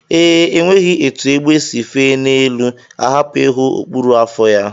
Ee, enweghị etu egbe si fee n'elu ahapụ ịhụ okpuru afọ ya